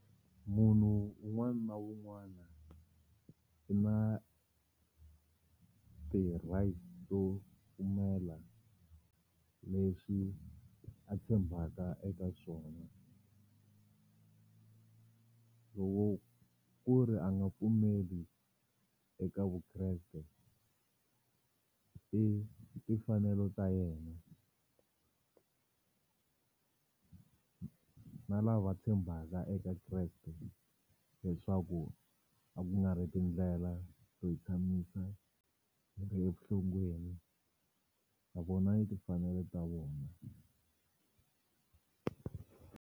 Munhu un'wana na un'wana i na ti-rights to pfumela leswi a tshembaka eka swona loko ku ri a nga pfumeli eka Vukreste i timfanelo ta yena na lava tshembaka eka Kreste leswaku a ku nga ri tindlela to hi tshamisa hi ri evurhongweni na vona yi timfanelo ta vona.